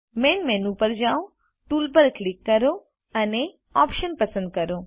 main menu પર જાઓ tools પર ક્લિક કરો અને ઓપ્શન્સ પસંદ કરો